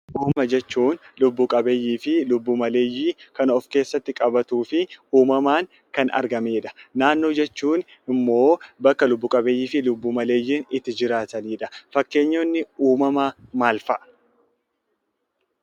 Uumama jechuun lubbu-qabeeyyii fi lubbu-maleeyyii kan of keessatti qabatuu fi uumamaan kan argamee dha. Naannoo jechuun immoo bakka lubbu-qabeeyyii fi lubbu-maleeyyiin itti jiraatanii dha. Fakkeenyonni uumamaa maal fa'a?